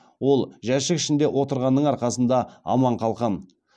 ол жәшік ішінде отырғанның арқасында аман қалқан